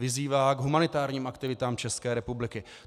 Vyzývá k humanitárním aktivitám České republiky.